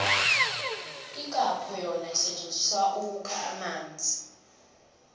ikhapho yona isetjenzisilwa ukukha amanzi